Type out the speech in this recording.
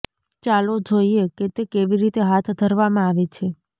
ચાલો જોઈએ કે તે કેવી રીતે હાથ ધરવામાં આવે છે